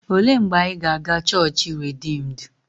Olee mgbe anyị ga-aga chọọchị Rediimdu?